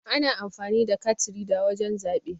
Ana amfani da kat rida wurin zaɓe.